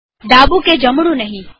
ડાબું કે જમણું નહીં